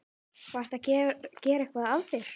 Varstu að gera eitthvað af þér?